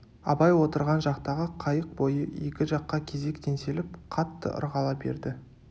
абай отырған жақтағы қайық бойы екі жаққа кезек теңселіп қатты ырғала берді